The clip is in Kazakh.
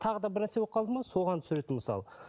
тағы да бір нәрсе болып қалды ма соған түсіреді мысалы